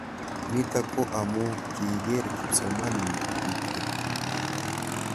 Nitok ko amuu kikiker kipsomaninik tutikin.